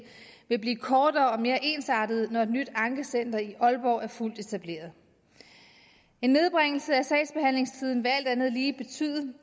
vil blive kortere og mere ensartede når et nyt ankecenter i aalborg er fuldt etableret en nedbringelse af sagsbehandlingstiden vil alt andet lige betyde